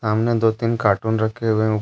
सामने दो तीन कार्टून रखे हुए--